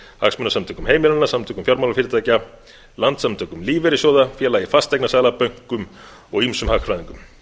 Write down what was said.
hagsmunasamtökum heimilanna samtökum fjármálafyrirtækja landssamtökum lífeyrissjóða félagi fasteignasala bönkum og ýmsum hagfræðingum